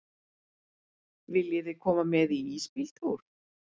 Viljiði koma með í ísbíltúr?